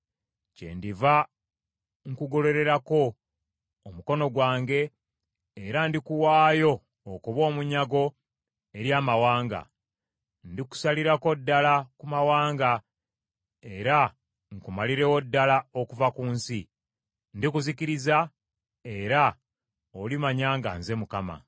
kyendiva nkugololerako omukono gwange era ndikuwaayo okuba omunyago eri amawanga. Ndikusalirako ddala ku mawanga era nkumalirewo ddala okuva mu nsi. Ndikuzikiriza, era olimanya nga nze Mukama .’”